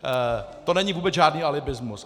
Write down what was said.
To není vůbec žádný alibismus!